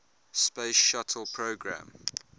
space shuttle program